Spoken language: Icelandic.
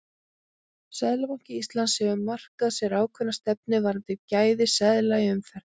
Seðlabanki Íslands hefur markað sér ákveðna stefnu varðandi gæði seðla í umferð.